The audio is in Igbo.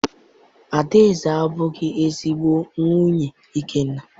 Adaeze abụghị ezigbo nwunye Ikenna.